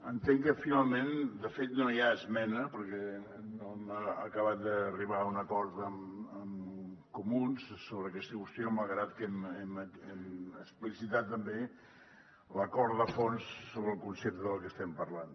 entenc que finalment de fet no hi ha esmena perquè no hem acabat d’arribar a un acord amb comuns sobre aquesta qüestió malgrat que hem explicitat també l’acord de fons sobre el concepte del que estem parlant